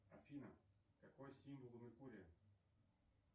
афина какой символ у меркурия